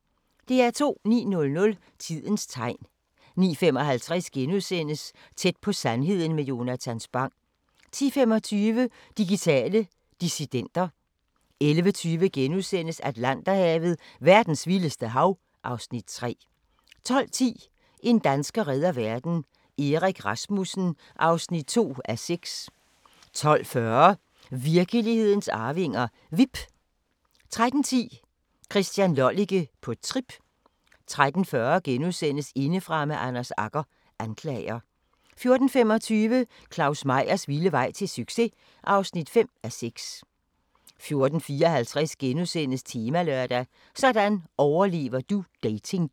09:00: Tidens tegn 09:55: Tæt på sandheden med Jonatan Spang * 10:25: Digitale dissidenter 11:20: Atlanterhavet: Verdens vildeste hav (Afs. 3)* 12:10: En dansker redder verden – Erik Rasmussen (2:6) 12:40: Virkelighedens arvinger: Vipp 13:10: Christian Lollike – på trip 13:40: Indefra med Anders Agger – Anklager * 14:25: Claus Meyers vilde vej til succes! (5:6) 14:54: Temalørdag: Sådan overlever du datingjunglen *